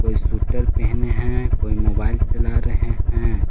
Shooter पहने है कोई मोबाइल चला रहे हैं।